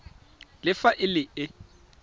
le fa e le e